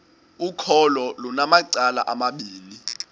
ukholo lunamacala amabini